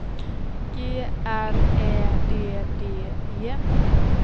G R Ä D D E